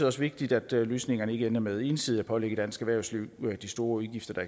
også vigtigt at løsningerne ikke ender med ensidigt at pålægge dansk erhvervsliv de store udgifter der